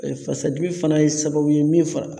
Fasadimi fana ye sababu ye min fa